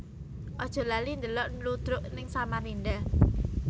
Aja lali ndelok ludruk ning Samarinda